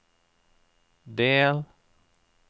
del